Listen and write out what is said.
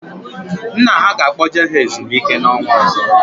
Nna ha ga-akpoje ha ezumike n'ọnwa ọzọ